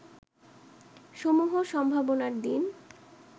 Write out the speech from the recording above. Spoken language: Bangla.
সমূহ সম্ভাবনার দিন